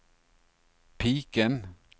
piken